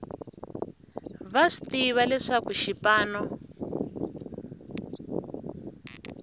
va swi tiva leswaku xipano